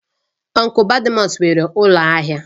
Ọnklu Badmus nwere ụlọ ahịa